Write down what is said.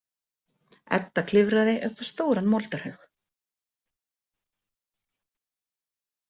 Edda klifraði upp á stóran moldarhaug.